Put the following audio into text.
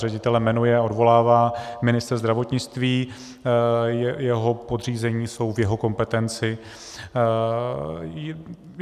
Ředitele jmenuje a odvolává ministr zdravotnictví, jeho podřízení jsou v jeho kompetenci.